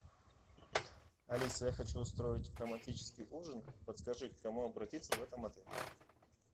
алиса я хочу устроить романтический ужин подскажи к кому обратиться в этом отеле